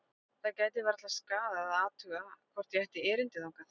Það gæti varla skaðað að athuga hvort ég ætti erindi þangað.